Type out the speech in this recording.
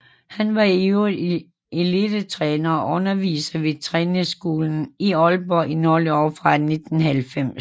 Han var i øvrigt elitetræner og underviser ved Trænerskolen Aalborg i nogle år fra 1990